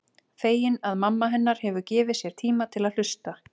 Fegin að mamma hennar hefur gefið sér tíma til að hlusta.